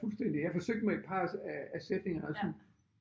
Fuldstændig jeg forsøgte med et par af af sætningerne sådan